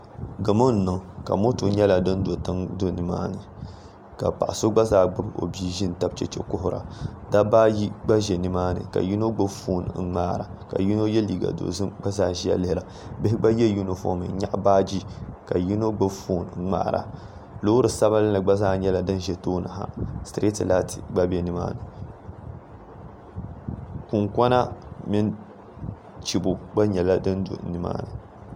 Gamo n niŋ ka moto nyɛla din do tiŋa ka paɣa so gba zaa gbubi o bia do n tabi chɛchɛ kuhura dabba ayi gba bɛ nimaani ka yino gbubi foon n ŋmaara ka yino yɛ liiga dozim ka gba zaa ʒiya ŋmaara bihi gba yɛ yunifom n nyaɣa baaji ka yino gbubi foon ŋmaara loori sabinli gba zaa ʒi nimaani kunkona mini chibo gba nyɛla din do nimaani